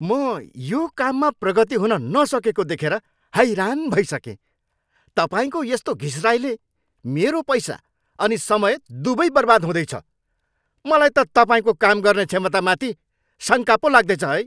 म यो काममा प्रगति हुन नसकेको देखेर हैरान भइसकेँ। तपाईँको यस्तो घिस्राइले मेरो पैसा अनि समय दुवै बर्बाद हुँदैछ, मलाई त तपाईँको काम गर्ने क्षमतामाथि शङ्का पो लाग्दैछ है।